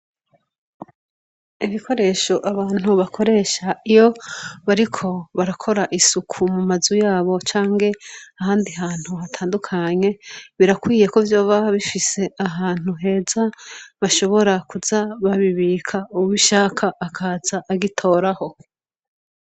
Ibikoresha abantu bakoresha iyo bariko barakora isuku mu manzu yabo canke ahandi hantu hatadukanye birakwiye ko vyoba bifise ahantu heza bashobora kuza babibika uwugishaka akaza agitoraho.